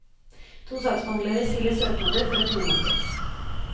To saksbehandlere siler søknader, for å finne mangler.